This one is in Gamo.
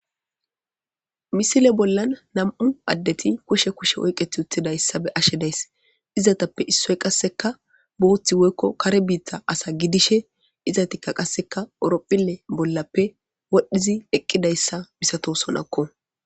misile bollan nam7u addeti kushe kushe oyqet utidayssa be ashe days izatappe issoy qasseka booththi woykko kare biitha asa gidishe izatikka qasseka eropphile bollappe wodhdhizi eqqidayssa misato sonakko.